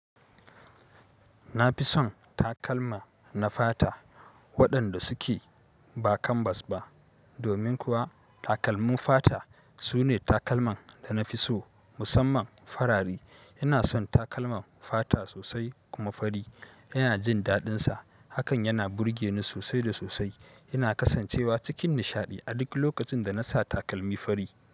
Na fi son takalma na fata waɗanda suke ba kanbas ba, domin kuwa takalmun fata sune takalman da na fi so musamman farare. Ina son takalman fata sosai kuma fari ina jin daɗinsa. Hakan yana burge ni sosai da sosai. Ina kasancewa cikin nishaɗi a duk lokacin da na sa takalmi fari.